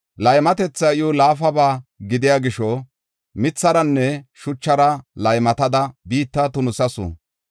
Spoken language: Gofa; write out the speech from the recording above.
Laymatethay iw laafaba gidiya gisho, mitharanne shuchara laymatada biitta tunisasu.